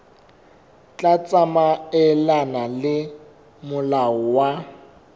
tla tsamaelana le molao wa